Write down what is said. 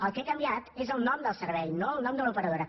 el que ha canviat és el nom del servei no el nom de l’operadora